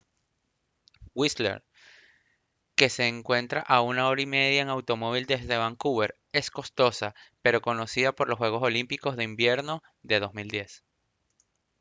whistler que se encuentra a una hora y media en automóvil desde vancouver es costosa pero conocida por los juegos olímpicos de invierno de 2010